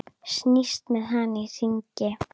Snýst með hann í hringi.